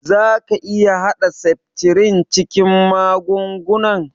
Za ka iƴa hada septrin cikin magungunan?